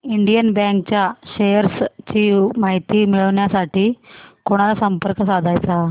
Indian bank च्या shares ची माहिती मिळविण्यासाठी कोणाला संपर्क साधायचा